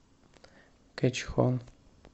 кэчхон